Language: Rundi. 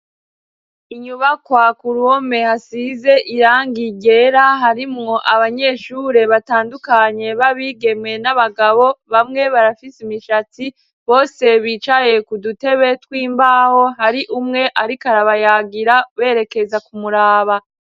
Inyubakwa ku ruhome hasize irangi ryera harimwo abanyeshure batandukanye babigeme n'abagabo bamwe barafise imishatsi , bose bicaye ku dutebe tw'imbaho hari umwe ariko arabayagira berekeza kumuraba.